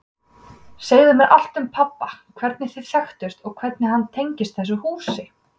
Segðu mér allt um pabba, hvernig þið þekktust og hvernig hann tengist þessu húsi.